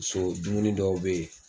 Paseke o dumuni dɔw bɛ yen